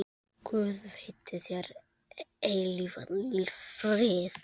Guð veiti þér eilífan frið.